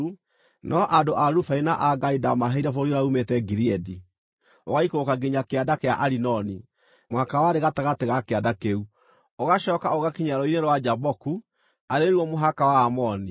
No andũ a Rubeni na a Gadi ndaamaheire bũrũri ũrĩa uumĩte Gileadi ũgaikũrũka nginya kĩanda kĩa Arinoni (mũhaka warĩ gatagatĩ ga kĩanda kĩu), ũgacooka ũgakinya rũũĩ-inĩ rwa Jaboku, arĩ ruo mũhaka wa Aamoni.